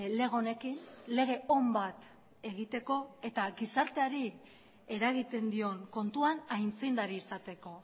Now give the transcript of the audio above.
lege honekin lege on bat egiteko eta gizarteari eragiten dion kontuan aitzindari izateko